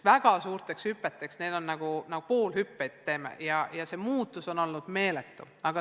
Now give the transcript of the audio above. Väga suurteks hüpeteks pole jõudu, me teeme justkui poolhüppeid, aga muutus on olnud meeletu.